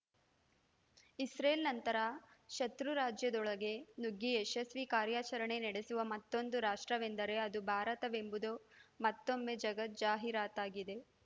Israel ನಂತರ ಶತೃ ರಾಷ್ಟ್ರದೊಳಗೆ ನುಗ್ಗಿ ಯಶಸ್ವಿ ಕಾರ್ಯಾಚರಣೆ ನಡೆಸುವ ಮತ್ತೊಂದು ರಾಷ್ಟ್ರವೆಂದರೆ ಅದು ಭಾರತವೆಂಬುದು ಮತ್ತೊಮ್ಮೆ ಜಗಜ್ಜಾಹೀರಾತಾಗಿದೆ